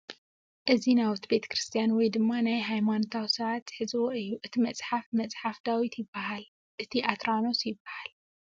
እዚ ናውቲ ቤ/ክርስትያን ወይ ድም ናይ ሃይማኖት ሰባት ዝሕዝዎ እዩ ፡ እቲ መፅሓፍ መፅሓፈ ዳዊት ይበሃል እቲ ኣትራኖስ ይበሃል ።